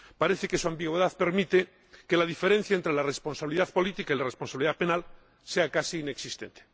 Parece que su ambigüedad permite que la diferencia entre la responsabilidad política y la responsabilidad penal sea casi inexistente.